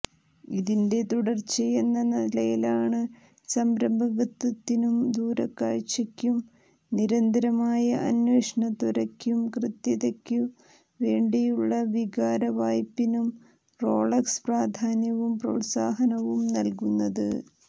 ഇതിന്റെ തുടര്ച്ചയെന്ന നിലയിലാണ് സംരംഭകത്വത്തിനും ദൂരക്കാഴ്ചയ്ക്കും നിരന്തരമായ അന്വേഷണത്വരയ്ക്കും കൃത്യതയ്ക്കു വേണ്ടിയുള്ള വികാരവായ്പിനും റോളക്സ് പ്രാധാന്യവും പ്രോത്സാഹനവും നല്കുന്നത്